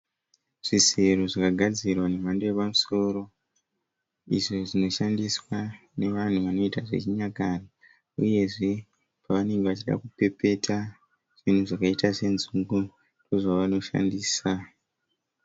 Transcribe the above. Zvisero zvakagadzirwa zvemhando yepamusoro izvo zvinoshandiswa nevanhu vanoita zvechinyakare uyezve pavanenge vachida kupepeta zvinhu zvakaita senzungu ndozvavanoshandisa.